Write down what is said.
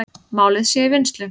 Málið sé í vinnslu.